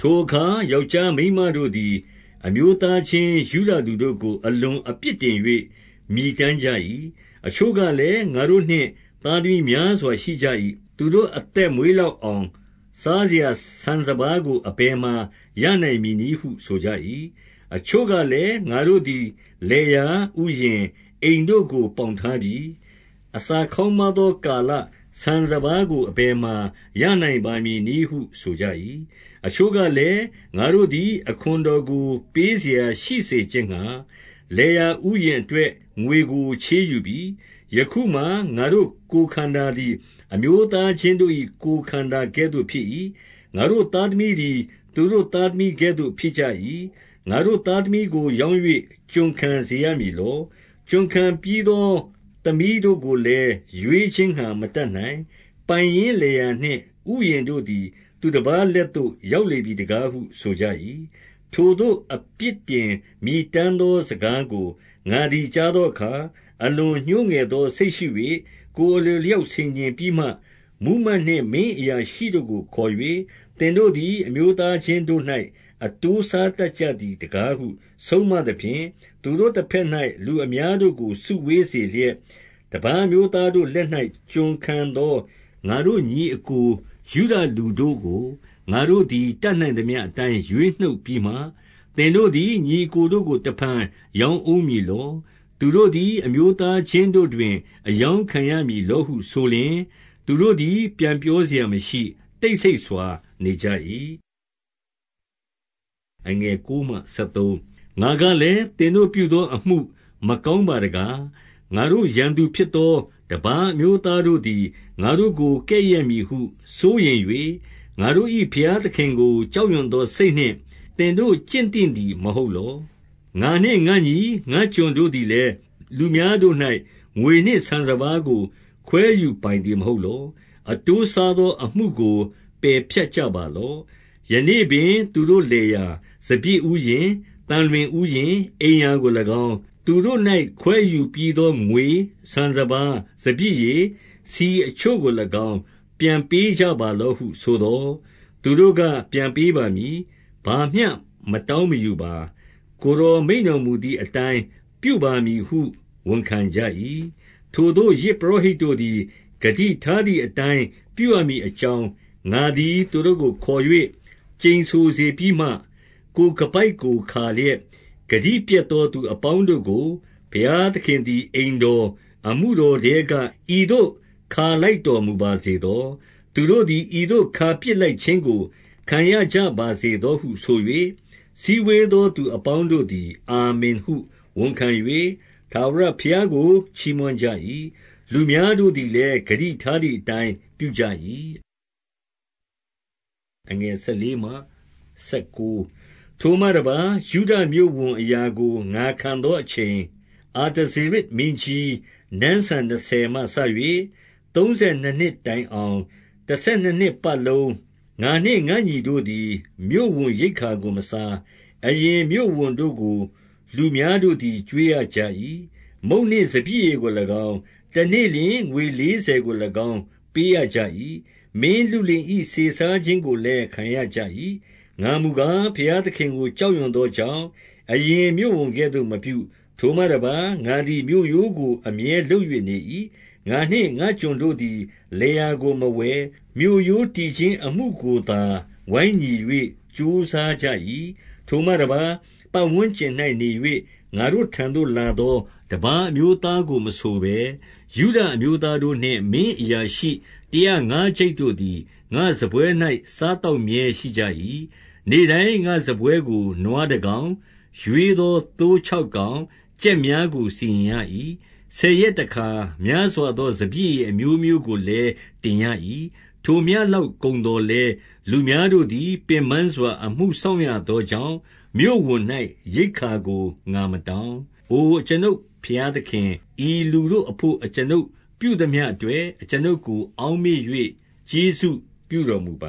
ထိုအခါ ယောက်ျားမိန်းမများတို့သည် အမျိုးသား ချင်း ယုဒလူတို့ကို အလွန်အပြစ်တင်၍ မြည်တမ်းကြ၏။ 2 အချို့ကလည်း၊ ငါတို့နှင့် သားသမီးများစွာ ရှိကြ၏။ သူတို့ အသက်မွေးလောက်အောင် စားစရာ ဆန်စပါးကို အဘယ်မှာ ရနိုင်မည်နည်းဟုဆိုကြ၏။ 3 အချို့ကလည်း၊ ငါတို့သည် လယ်ယာ၊ ဥယျာဉ်၊ အိမ်တို့ကို ပေါင်ထားပြီ။ အစာခေါင်းပါးသောကာလ၊ ဆန်စပါးကို အဘယ်မှာ ရနိုင်ပါမည်နည်းဟု ဆိုကြ၏။ 4 အချို့ကလည်း၊ ငါတို့သည် အခွန်တော်ကို ပေးစရာရှိခြင်းငှါ လယ်ယာဥယျာဉ်အတွက် ငွေကို ချေးယူပြီ။ 5 ယခုမှာ ငါတို့ ကိုယ်ခန္ဓာသည် အမျိုးသားချင်း တို့၏ ကိုယ်ခန္ဓာ ကဲ့သို့ဖြစ်၏။ ငါတို့သားသမီးသည် သူတို့ သားသမီးကဲ့သို့ဖြစ်ကြ၏။ ငါတို့ သားသမီးကိုရောင်း၍ ကျွန်ခံစေရမည်လော။ ကျွန်ခံပြီးသော သမီးတို့ကိုလည်း ရွေးခြင်းငှါ မတတ်နိုင်။ ပိုင်ရင်းလယ်ယာနှင့် ဥယျာဉ်တို့ သည် သူတပါးလက်သို့ ရောက်လေပြီတကားဟု ဆိုကြ၏။ 6 ထိုသို့အပြစ်တင်မြည်တမ်းသောစကားကို ငါ သည် ကြားသောအခါ၊ အလွန်ညှိုးငယ်သောစိတ်ရှိ၍၊ ကိုယ်အလိုအလျောက် ဆင်ခြင်ပြီးမှ၊ 7 မှူးမတ်နှင့် မင်းအရာရှိတို့ကိုခေါ်၍၊ သင်တို့ သည် အမျိုးသားချင်းတို့၌ အတိုးစားတတ်ကြသည် တကားဟု ဆုံးမသဖြင့်၊ သူတို့တဘက်၌ လူအများတို့ကို စုဝေးစေလျက်၊ 8 တပါးအမျိုးသားတို့လက်၌ ကျွန်ခံသောငါတို့ ညီအစ်ကို ယုဒလူတို့ကို၊ ငါတို့သည် တတ်နိုင်သမျှအတိုင်း ရွေးနှုတ်ပြီးမှ၊ သင်တို့သည် ညီအစ်ကိုတို့ကို တဖန် ရောင်းဦးမည်လော။ သူတို့သည် အမျိုးသားချင်းတို့တွင် အရောင်းခံရမည်လောဟုဆိုလျှင်၊ သူတို့သည် ပြန်ပြော စရာမရှိ၊ တိတ်ဆိတ်စွာနေကြ၏။ 9 ငါကလည်း၊ သင်တို့ပြုသောအမှု မကောင်းပါ တကား။ ငါတို့ ရန်သူဖြစ်သော တပါးအမျိုးသားတို့သည် ငါတို့ကိုကဲ့ရဲ့မည်ဟု စိုးရိမ်၍၊ ငါတို့၏ ဘုရားသခင်ကို ကြောက်ရွံ့သောစိတ်နှင့် သင်တို့ကျင့်သင့်သည် မဟုတ် လော။ 10 ငါနှင့်ငါ့ညီ၊ ငါ့ကျွန်တို့သည်လည်း၊ လူများတို့၌ ငွေနှင့်ဆန်စပါးကို ခွဲယူပိုင်သည်မဟုတ်လော။ အတိုးစား သော အမှုကို ပယ်ဖြတ်ကြပါလော့။ 11 ယနေ့ပင်သူတို့လယ်ယာ၊ စပျစ်ဥယျာဉ်၊ သံလွင် ဥယျာဉ်၊ အိမ်ရာကို၎င်း၊ သူတို့၌ခွဲယူပြီးသော ငွေ၊ ဆန်စပါး၊ စပျစ်ရည်၊ ဆီအချို့ကို၎င်း ပြန်ပေးကြပါလော့ ဟု ဆိုသော်၊ 12 သူတို့က ပြန်ပေးပါမည်။ ဘာမျှမတောင်းမယူ ပါ။ ကိုယ်တော်မိန့်တော်မူသည်အတိုင်း ပြုပါမည်ဟု ဝန်ခံကြ၏။ ထိုသို့ ယဇ်ပုရောဟိတ်တို့သည် ဂတိထား သည်အတိုင်း ပြုရမည်အကြောင်း၊ ငါသည် သူတို့ကို ခေါ်၍ ကျိန်ဆိုစေပြီးမှ၊ 13 ကိုယ်ခါးပိုက်ကို ခါလျက်၊ ဂတိပျက်သော သူအပေါင်းတို့ကို ဘုရားသခင်သည် အိမ်တော်၊ အမှုတော် ထဲက ဤသို့ခါလိုက်တော်မူပါစေသော။ သူတို့သည် ဤသို့ခါပစ်လိုက်ခြင်းကို ခံရကြပါစေဟုဆို၍ စည်းဝေး သောသူအပေါင်းတို့သည် အာမင်ဟု ဝန်ခံ၍ ထာဝရ ဘုရားကို ချီးမွမ်းကြ၏။ လူများတို့သည်လည်း၊ ဂတိထား သည်အတိုင်း ပြုကြ၏။ 14 ထိုမှတပါး ယုဒမြို့ဝန်အရာကို ငါခံသောအချိန်၊ အာတဇေရဇ်မင်းကြီး နန်းစံနှစ်ဆယ်မှစ၍ သုံးဆယ်နှစ်နှစ် တိုင်အောင်၊ တဆယ်နှစ် နှစ်ပတ်လုံး ငါနှင့် ငါ့ညီတို့သည် မြို့ဝန်ရိက္ခာကိုမစား။ 15 အရင်မြို့ဝန်တို့ကို လူများတို့သည် ကျွေးရကြ၏။ မုန့်နှင့်စပျစ် ရည်ကို၎င်း၊ တနေ့လျှင် ငွေလေးဆယ်ကို၎င်း ပေးရကြ၏။ မင်းလုလင်၏ စေစားခြင်းကိုလည်း ခံရကြ ၏။ ငါမူကား ဘုရားသခင်ကို ကြောက်ရွံ့သောကြောင့်၊ အရင်မြို့ဝန်ကဲ့သို့မပြု။ 16 ထိုမှတပါး၊ ငါသည် မြို့ရိုးကိုအမြဲလုပ်၍နေ၏။ ငါနှင့် ငါ့ကျွန်တို့ သည်လယ်ယာကို မဝယ်၊ မြို့ရိုးတည်ခြင်း အမှုကိုသာ ဝိုင်းညီ၍ ကြိုးစားကြ၏။ 17 ထိုမှတပါး၊ ပတ်ဝန်းကျင်၌နေ၍ ငါတို့ထံသို့ လာသော တပါးအမျိုးသားကို မဆိုဘဲ၊ ယုဒအမျိုးသားတို့ နှင့် မင်းအရာရှိ တရာငါးကျိပ်တို့သည် ငါ့စားပွဲ၌ စားသောက်မြဲရှိကြ၏။ 18 နေ့တိုင်း ငါ့စားပွဲကို နွားတကောင်၊ ရွေးသော သိုးခြောက်ကောင်၊ ကြက်များကို စီရင်ရ၏။ ဆယ်ရက် တခါများစွာသော စပျစ်ရည်အမျိုးမျိုးကိုလည်း တင်ရ၏။ ထိုမျှလောက်ကုန်သော်လည်း၊ လူများတို့သည် ပင်ပန်းစွာ အမှုစောင့်ရသောကြောင့်၊ မြို့ဝန်၌ ရိက္ဓာကို ငါမတောင်း။ 19 အိုအကျွန်ုပ် ဘုရားသခင်၊ ဤလူတို့အဘို့ အကျွန်ုပ်ပြုသမျှအတွက် အကျွန်ုပ်ကို အောက်မေ့၍ ကျေးဇူးပြုတော်မူပ